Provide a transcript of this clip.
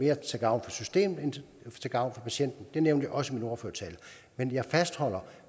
er til gavn for systemet end til gavn for patienten det nævnte jeg også i min ordførertale men jeg fastholder